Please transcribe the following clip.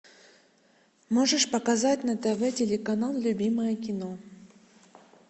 можешь показать на тв телеканал любимое кино